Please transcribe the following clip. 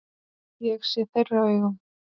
Ég sé þeirra augum.